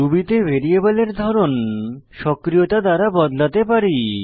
Ruby তে ভ্যারিয়েবলের ধরন সক্রিয়তা দ্বারা বদলাতে পারি